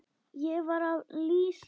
Ég var að lýsa Þuru.